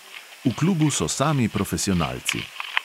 V klubu so sami profesionalci.